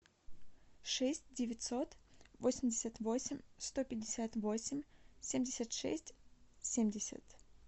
шесть девятьсот восемьдесят восемь сто пятьдесят восемь семьдесят шесть семьдесят